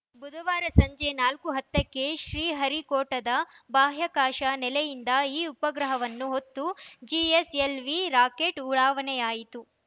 ಬುಧವಾರ ಸಂಜೆ ನಾಲ್ಕು ಹತ್ತ ಕ್ಕೆ ಶ್ರೀಹರಿಕೋಟದ ಬಾಹ್ಯಾಕಾಶ ನೆಲೆಯಿಂದ ಈ ಉಪಗ್ರಹವನ್ನು ಹೊತ್ತು ಜಿಎಸ್‌ಎಲ್‌ವಿ ರಾಕೆಟ್‌ ಉಡಾವಣೆಯಾಯಿತು